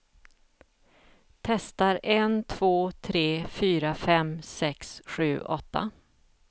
Testar en två tre fyra fem sex sju åtta.